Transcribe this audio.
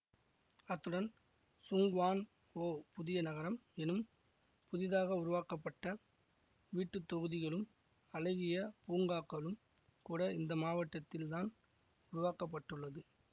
அத்துடன் Tseung Kwan O புதிய நகரம் எனும் புதிதாக உருவாக்கப்பட்ட வீட்டுத்தொகுதிகளும் அழகிய பூங்காக்களும் கூட இந்த மாவட்டத்தில் தான் உருவாக்க பட்டுள்ளது